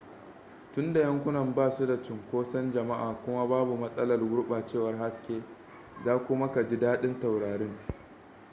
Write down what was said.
tunda yankunan ba su da cinkoson jama'a kuma babu matsalar gurɓacewar haske za kuma ka ji daɗin taurarin